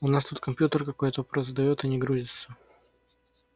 у нас тут компьютер какой-то вопрос задаёт и не грузится